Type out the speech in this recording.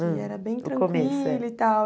Hum Que era bem tranquilo e tal.